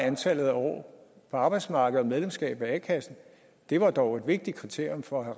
antallet af år på arbejdsmarkedet og medlemskab af a kassen var dog et vigtigt kriterium for at